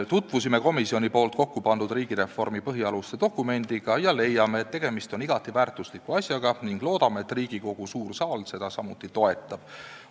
Tutvusime komisjoni poolt kokkupandud riigireformi põhialuste dokumendiga ja leiame, et tegemist on igati väärtusliku asjaga, ning loodame, et Riigikogu suur saal seda samuti toetab.